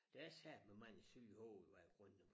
Der er satme mange syge i hoved i grunden